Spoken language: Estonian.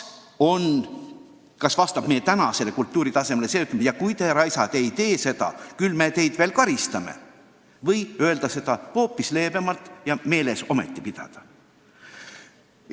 Kas vastab meie kultuuritasemele öelda: "Kui te, raisad, ei tee seda, siis küll me teid veel karistame!" või see, et me ütleme seda hoopis leebemalt, aga nõuame meelespidamist ikkagi?